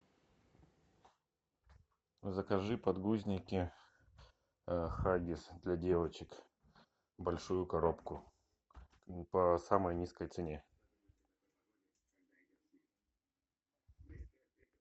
закажи подгузники хаггис для девочек большую коробку по самой низкой цене